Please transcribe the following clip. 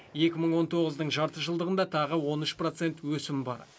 екі мың он тоғыздың жарты жылдығында тағы он үш процент өсім бар